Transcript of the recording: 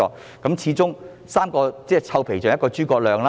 畢竟"三個臭皮匠，勝過一個諸葛亮"。